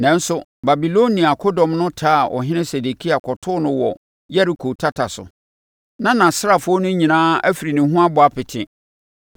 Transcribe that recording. Nanso, Babilonia akodɔm no taa Ɔhene Sedekia kɔtoo no wɔ Yeriko tata so. Na nʼasraafoɔ no nyinaa afiri ne ho abɔ apete,